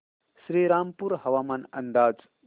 श्रीरामपूर हवामान अंदाज